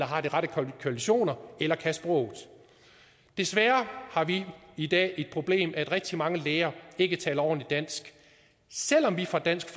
har de rette kvalifikationer eller kan sproget desværre har vi i dag et problem at rigtig mange læger ikke taler ordentligt dansk selv om vi fra dansk